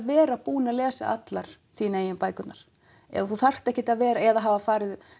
vera búin að lesa allar þín eigin bækurnar eða þú þarft ekkert að vera eða hafa farið